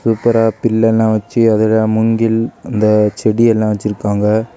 சூப்பரா பில் எல்லா வெச்சு அதுல மூங்கில் அந்த செடி எல்லா வெச்சிருக்காங்க.